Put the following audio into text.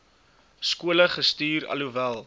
skole gestuur alhoewel